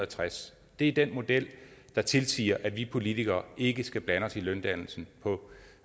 tres det er den model der tilsiger at vi politikere ikke skal blande os i løndannelsen på